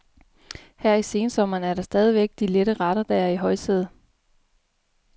Her i sensommeren er det stadigvæk de lette retter, der er i højsædet.